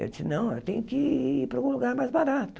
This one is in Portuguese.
Eu disse, não, eu tenho que ir para um lugar mais barato.